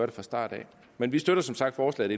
det fra starten af men vi støtter som sagt forslaget